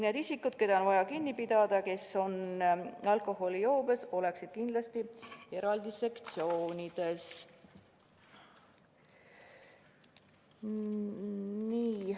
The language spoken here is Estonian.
Need isikud, keda on vaja kinni pidada ja kes on alkoholijoobes, oleksid kindlasti eraldi sektsioonides.